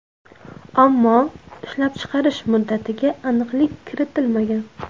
Ammo ishlab chiqarish muddatiga aniqlik kiritilmagan.